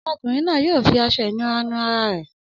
Ọmọkùnrin náà yóò fi aṣọ-ìnura nu ara rẹ̀.